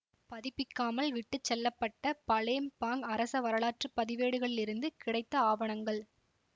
பதிப்பிக்காமல் விட்டு செல்ல பட்ட பலேம்பாங் அரச வரலாற்று பதிவேடுகளிலிருந்து கிடைத்த ஆவணங்கள்